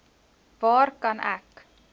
waar kan ek